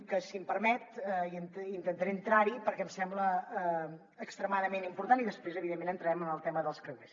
que si m’ho permet intentaré entrar hi perquè em sembla extremadament important i després evidentment entrarem en el tema dels creuers